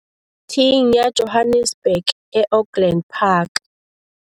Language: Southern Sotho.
thing ya Johannesburg e Auckland Park.